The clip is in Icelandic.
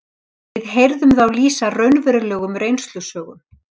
Við heyrðum þá lýsa raunverulegum reynslusögum